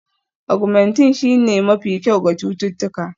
Augmentin shine mafi kyau ga cututtuka